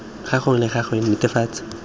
gangwe le gape go netefatsa